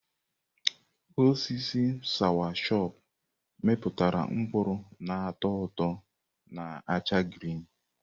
Osisi sawachọpụ mịpụtara mkpụrụ n'atọ ụtọ na acha grịn.